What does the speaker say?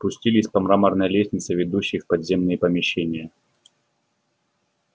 спустились по мраморной лестнице ведущей в подземные помещения